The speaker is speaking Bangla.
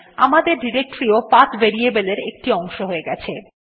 আমাদের ডিরেক্টরী ও পাথ ভেরিয়েবল এর একটি অংশ হয়ে গেছে